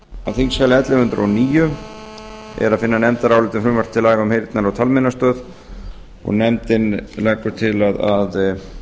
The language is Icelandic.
þingskjali ellefu hundruð og níu er að finna nefndarálit um frumvarp til laga um heyrnar og talmeinastöð og nefndin leggur til að